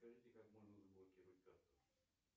скажите как можно заблокировать карту